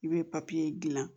I bɛ gilan